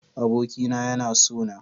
Abokina yana sona.